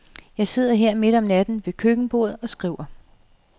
Jeg sidder her midt om natten ved køkkenbordet og skriver.